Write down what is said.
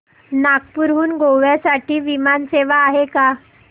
नागपूर हून गोव्या साठी विमान सेवा आहे का